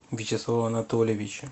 вячеслава анатольевича